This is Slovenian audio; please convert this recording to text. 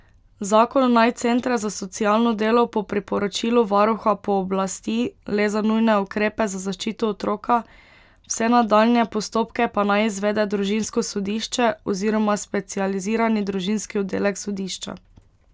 Zakon naj centre za socialno delo po priporočilu varuha pooblasti le za nujne ukrepe za zaščito otroka, vse nadaljnje postopke pa naj izvede družinsko sodišče oziroma specializirani družinski oddelek sodišča.